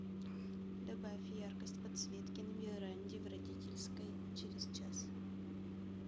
добавь яркость подсветки на веранде в родительской через час